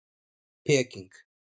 Peking